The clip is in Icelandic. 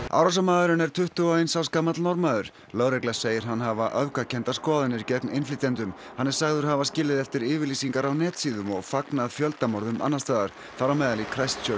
árásarmaðurinn er tuttugu og eins árs gamall Norðmaður lögregla segir hann hafa öfgakenndar skoðanir gegn innflytjendum hann er sagður hafa skilið eftir yfirlýsingar á netsíðum og fagnað fjöldamorðum annars staðar þar á meðal í